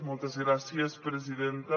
moltes gràcies presidenta